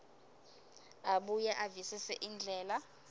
abuye avisise indlela